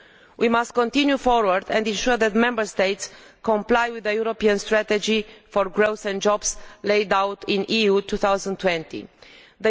We must continue forward and ensure that Member States comply with the European Strategy for Growth and Jobs laid out in the Europe 2020 Strategy.